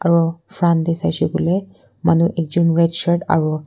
Aro front dae saishe koilem manu ek jun red shirt aro--